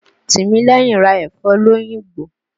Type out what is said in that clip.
Tìmílẹ́yìn ra ẹ̀fọ́ l'Óyìngbò.